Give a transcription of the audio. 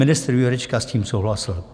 Ministr Jurečka s tím souhlasil.